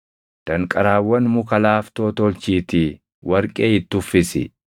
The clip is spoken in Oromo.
Danqaraawwan muka laaftoo tolchiitii warqee itti uffisi.